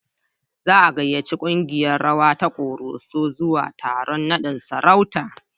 Za a gayyaci kungiyar rawa ta Koroso zuwa taron naɗin sarauta.